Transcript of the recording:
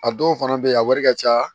A dɔw fana bɛ yen a wari ka ca